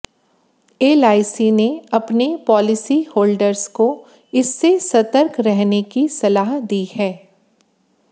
LIC ने अपने policy holders को इससे सतर्क रहने की सलाह दी है